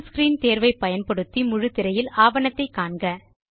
புல் screen தேர்வை பயன்படுத்தி முழுத்திரையில் ஆவணத்தை காண்க